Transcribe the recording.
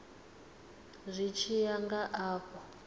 zwi tshi ya nga afho